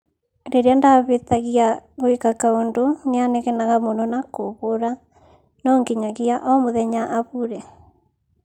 Rĩrĩa ndabĩtagia gwĩka kaũndũ nĩanegenaga mũno na kũbũũra ,nonginyagia omũthenya abure.